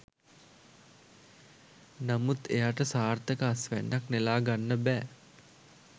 නමුත් එයාට සාර්ථක අස්වැන්නක් නෙලාගන්න බෑ.